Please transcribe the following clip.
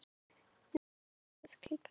Það er bráðfyndið.